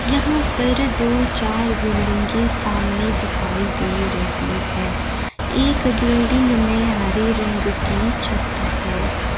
यहां पर दो चार बिल्डिंगे सामने दिखाई दे रही है एक बिल्डिंग में हरे रंग की छत है।